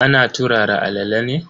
Ana turara alala ne.